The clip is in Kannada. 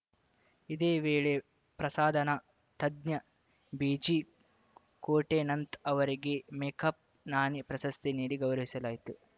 ಇದೇ ವೇಳೆ ಪ್ರಸಾದನ ತಜ್ಞ ಬಿಜಿಕೋಟೆನಂತ್‌ ಅವರಿಗೆ ಮೇಕಪ್‌ ನಾಣಿ ಪ್ರಶಸ್ತಿ ನೀಡಿ ಗೌರವಿಸಲಾಯಿತು